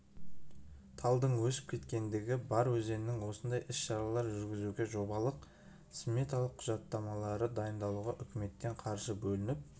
талдың өсіп кеткендігі бар өзеннің осындай іс-шаралар жүргізуге жобалық сметалық құжаттамалары дайындалуда үкіметтен қаржы бөлініп